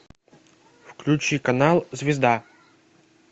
включи канал звезда